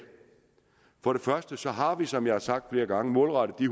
for det første har vi som jeg har sagt flere gange målrettet de